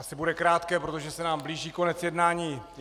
Asi bude krátké, protože se nám blíží konec jednání.